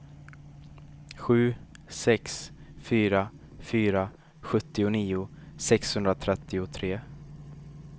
sju sex fyra fyra sjuttionio sexhundratrettiotre